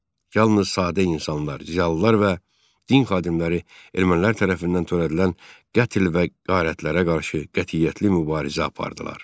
Yalnız sadə insanlar, ziyalılar və din xadimləri ermənilər tərəfindən törədilən qətl və qarətlərə qarşı qətiyyətli mübarizə apardılar.